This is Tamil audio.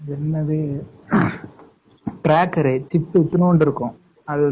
அது என்னது tracker chip இத்துணுண்டு இருக்கும்